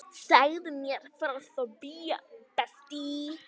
Segðu mér frá því?